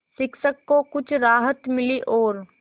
शिक्षक को कुछ राहत मिली और